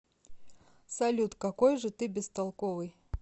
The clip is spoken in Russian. салют какой же ты бестолковый